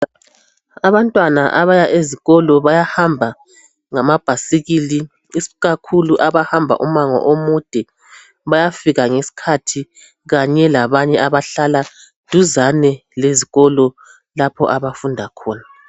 Abantwana abaya ezikolo bayahamba ngamabhasikili, ikakhulu abahamba umango omude bayafika ngesikhathi kanye labanye abahlala duzane lezikolo lapha abafunda khona.